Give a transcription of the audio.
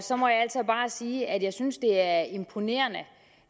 så må jeg altså bare sige at jeg synes det er imponerende